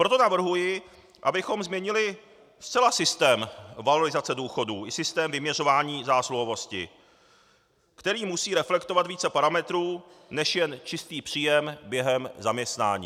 Proto navrhuji, abychom změnili zcela systém valorizace důchodů i systém vyměřování zásluhovosti, který musí reflektovat více parametrů než jen čistý příjem během zaměstnání.